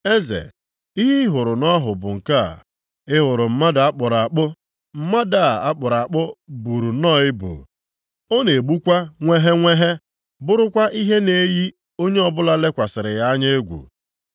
“Eze, ihe ị hụrụ nʼọhụ bụ nke a. Ị hụrụ mmadụ a kpụrụ akpụ. Mmadụ a a kpụrụ akpụ buru nnọọ ibu. Ọ na-egbukwa nweghenweghe, bụrụkwa ihe na-eyi onye ọbụla lekwasịrị ya anya egwu.